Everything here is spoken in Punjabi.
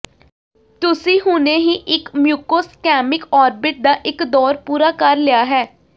ਤੁਸੀਂ ਹੁਣੇ ਹੀ ਇਕ ਮਿਊਕੋਸਕੈਮਿਕ ਔਰਬਿਟ ਦਾ ਇਕ ਦੌਰ ਪੂਰਾ ਕਰ ਲਿਆ ਹੈ